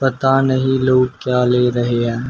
पता नहीं लोग क्या ले रहे हैं?